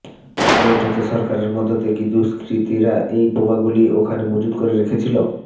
প্রশ্ন উঠছে সরকারের মদতে কী দুষ্কৃতীরা এই বোমাগুলি ওখানে মজুত করে রেখেছিল